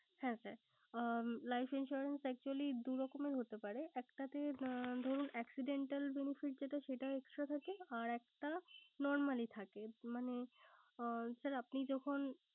হ্যাঁ sir life insurance actually দু রকমের হতে পারে। একটাতে ধরুন accidental জনিত যেটা সেটা extra থাকে আর একটা normally থাকে। মানে আপনি যখন